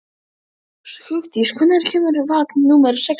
Hugdís, hvenær kemur vagn númer sextán?